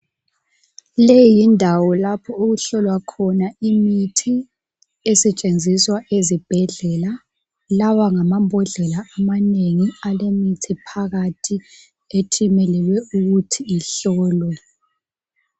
Leyi yindawo lapho okuhlolwa khona imithi esetshenziswa ezibhedlela. Lawa ngamambodlela amanengi alemithi phakathi ethimelele ukuthi ihlolwe.